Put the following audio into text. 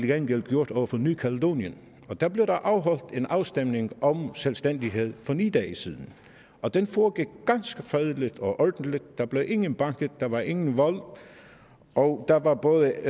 gengæld gjort over for ny kaledonien der blev der afholdt en afstemning om selvstændighed for ni dage siden og den foregik ganske fredeligt og ordentligt der blev ingen banket der var ingen vold og der var både